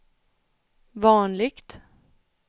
vanligt